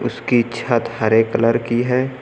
उसकी छत हरे कलर की है।